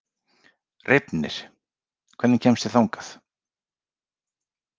Reifnir, hvernig kemst ég þangað?